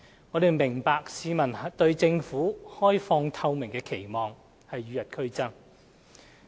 我們明白市民對政府開放透明的期望與日俱增。